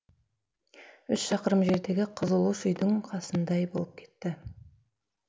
үш шақырым жердегі қызылұш үйдің қасындай болып кетті